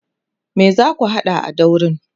me zaku hada na daurin?